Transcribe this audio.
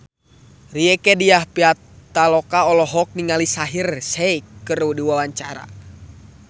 Rieke Diah Pitaloka olohok ningali Shaheer Sheikh keur diwawancara